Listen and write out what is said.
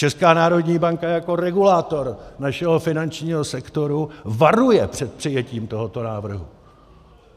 Česká národní banka jako regulátor našeho finančního sektoru varuje před přijetím tohoto návrhu!